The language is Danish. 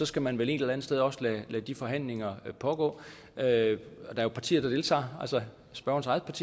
skal man vel et eller andet sted også lade de forhandlinger pågå der er jo partier der deltager spørgerens